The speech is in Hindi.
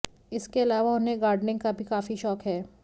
इसके अलावा उन्हें गार्डनिंग का भी काफी शौक है